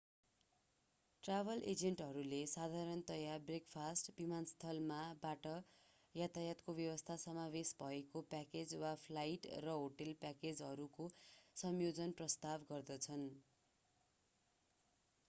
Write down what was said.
Travel एजेन्टहरूले साधारणतया breakfast विमानस्थल मा/बाट यातायातको व्यवस्था समावेश भएको प्याकेज वा फ्लाइट र होटेल प्याकेजहरूको संयोजन प्रस्ताव गर्दछन्।